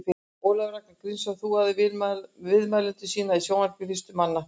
Ólafur Ragnar Grímsson þúaði viðmælendur sína í sjónvarpi fyrstur manna.